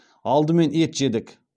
алдымен ет жедік